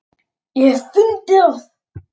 ég hef fundið það!